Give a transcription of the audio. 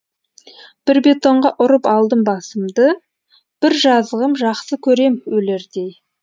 бір бетонға ұрып алдым басымды бір жазығым жақсы көрем өлердей